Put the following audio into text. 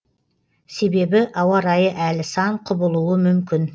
себебі ауа райы әлі сан құбылуы мүмкін